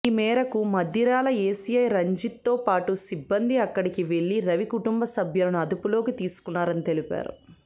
ఈ మేరకు మద్దిరాల ఎస్ఐ రంజిత్తో పాటు సిబ్బంది అక్కడికి వెళ్లి రవి కుటుంబ సభ్యులను అదుపులోకి తీసుకున్నారని తెలిపారు